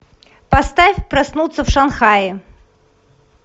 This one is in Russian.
поставь проснуться в шанхае